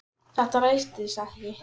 Þetta rættist ekki.